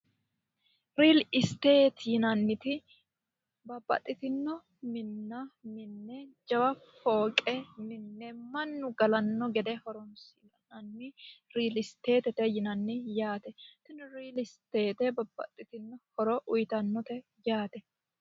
Real State yineemmoti babbaxitino minna minne jajjabba fooqe mine mannu galano gede horonsi'nanni real state'te yineemmo yaate tini real state babbaxitino horo uyittanote yaate.